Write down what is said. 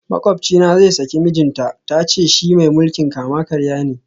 Makwabcina zai saki mijinta, ta ce shi mai mulkin kama karya ne